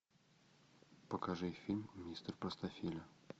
покажи фильм мистер простофиля